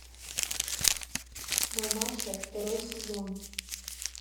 мамаша второй сезон